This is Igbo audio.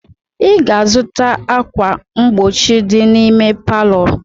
Ị ga-azụta ákwà mgbochi dị n'ime palọ!